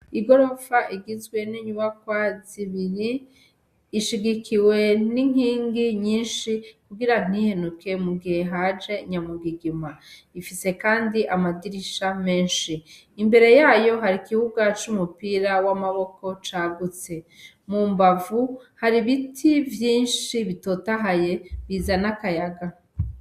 I gorofa igizwenenyuba kwa zibiri ishigikiwe n'inkingi nyinshi kugira ntihenuke mugihe haje nyamugigima ifise, kandi amadirisha menshi imbere yayo hari ikibuga c'umupira w'amaboko cagutse mu mbavu hari ibiti vyi binshi bitotahaye bizana akayaga.